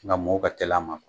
Sisan mɔw ka tel'a ma